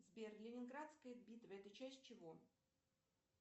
сбер ленинградская битва это часть чего